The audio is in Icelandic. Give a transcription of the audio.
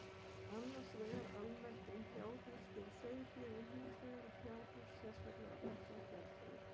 Annars vegar almennt um fjárhús fyrir sauðfé en hins vegar um fjárhús sérstaklega ætlað geldfé.